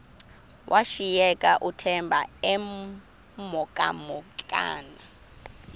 washiyeka uthemba emhokamhokana